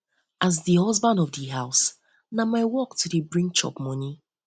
as man of di house na my work to dey bring chop moni bring chop moni